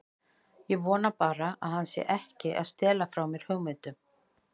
Ég vona bara að hann sé ekki að stela frá mér hugmyndum.